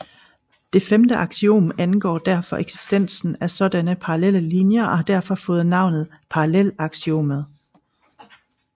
Det femte aksiom angår derfor eksistensen af sådanne parallelle linjer og har derfor fået navnet parallelaksiomet